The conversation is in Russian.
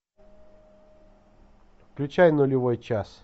включай нулевой час